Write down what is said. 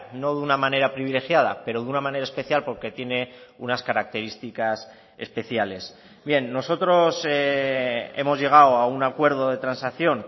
no de una manera privilegiada pero de una manera especial porque tiene unas características especiales bien nosotros hemos llegado a un acuerdo de transacción